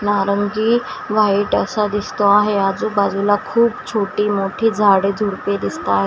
नारंगी व्हाईट असा दिसतो आहे आजूबाजूला खूप छोटी मोठी झाडे झुडपे दिसता आहे.